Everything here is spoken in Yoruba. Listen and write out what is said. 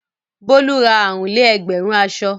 Bólú ra àrùn-lé-ẹgbẹ̀rún aṣọ.